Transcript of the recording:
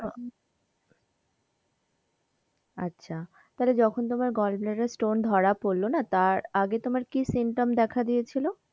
আচ্ছা তাহলে যখন তোমার gallbladder stone ধরা পড়লো না, তার আগে তোমার কি symptoms দেখা দিয়েছিলো?